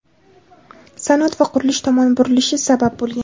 sanoat va qurilish tomon burilishi sabab bo‘lgan.